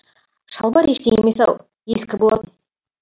шалбар ештеңе емес ау ескі болатын